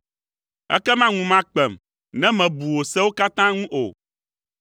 Ekema ŋu makpem ne mebu wò sewo katã ŋu o.